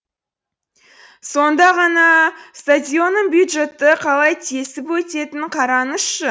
сонда ғана стадионның бюджетті қалай тесіп өтетінін қараңызшы